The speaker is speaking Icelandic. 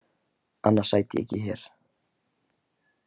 Annars sæti ég ekki hér.